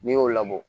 N'i y'o labɔ